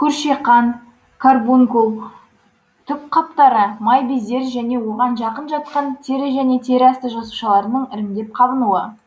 көршиқан карбункул түк қаптары май бездері және оған жақын жатқан тері және тері асты жасушаларының іріңдеп қабынуы